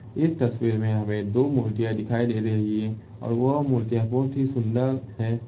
इस तस्वीर में हमें दो मूर्तियाँ दिखाई दे रही हैं और वह मूर्तियाँ बोहोत ही सुन्दर हैं।